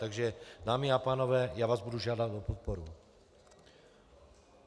Takže dámy a pánové, já vás budu žádat o podporu.